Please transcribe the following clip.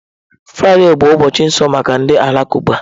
Fraịde bụ ụbọchị nsọ maka ndị Alakụba.